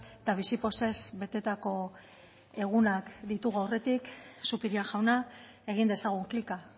eta bizi pozez betetako egunak ditugu aurretik zupiria jauna egin dezagun klika